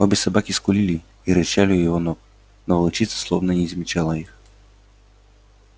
обе собаки скулили и рычали у его ног но волчица словно и не замечала их